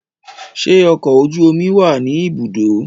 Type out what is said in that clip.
Ṣe ọkọ ojú oju omi wá ni ibùdó?